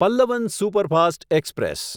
Pallavan superfast express